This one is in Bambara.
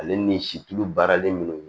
Ale ni situlu baaralen minnu